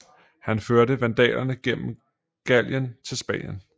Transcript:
Han førte vandalerne gennem Gallien til Spanien